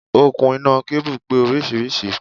Okùn iná kábù pé oríṣiríṣi.